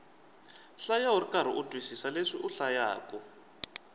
hlaya ukarhi u twisisa leswi u hlayaku